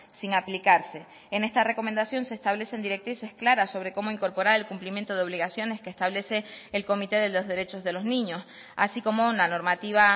sin aplicarse en esta recomendación se establecen directrices claras sobre cómo incorporar el cumplimiento de obligaciones que establece el comité de los derechos de los niños así como una normativa